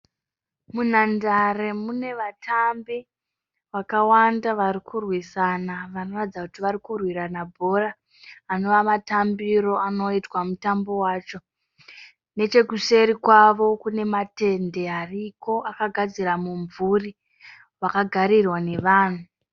Munhandare mune vatambi vakawanda varikurwisana vanoratidza kuti varikurwirana bhora anova matambiro anoitwa mutambo wacho. Nechekuseri kwavo kune matende ariko akagadzira mumvuri wakagarirwa nevanhu.